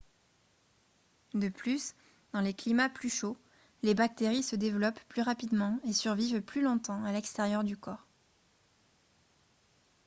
de plus dans les climats plus chauds les bactéries se développent plus rapidement et survivent plus longtemps à l'extérieur du corps